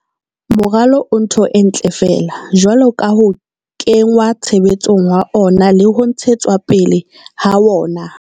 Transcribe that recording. Moralo o ntho e ntle feela jwalo ka ho kenngwa tshebetsong ha wona le ho ntshetswa pele ha wona.